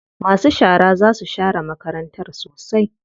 Masu shara za su share makarantar sosai.